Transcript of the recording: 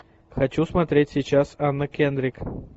хочу смотреть сейчас анна кендрик